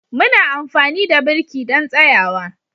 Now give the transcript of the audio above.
Muna amfani da birki don tsayawa.